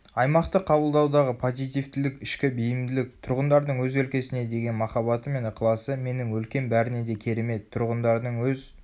аймақты қабылдаудағы позитивтілік ішкі бейімділік тұрғындардың өз өлкесіне деген махаббаты мен ықыласы менің өлкем бәрінен де керемет тұрғындардың өз